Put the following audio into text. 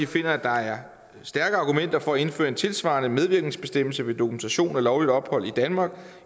finder at der er stærke argumenter for at indføre en tilsvarende medvirkensbestemmelse ved dokumentation for lovligt ophold i danmark